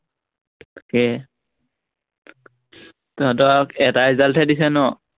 তাকে তহঁতৰ আৰু এটা ৰিজাল্টহে দিছে ন?